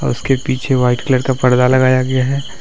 उसके पीछे white colour का परदा लगाया गया है।